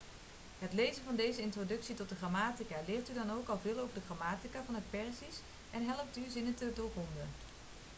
het lezen van deze introductie tot de grammatica leert u dan ook al veel over de grammatica van het perzisch en helpt u zinnen te doorgronden